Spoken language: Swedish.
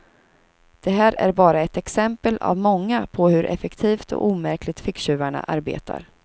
Det här är bara ett exempel av många på hur effektivt och omärkligt ficktjuvarna arbetar.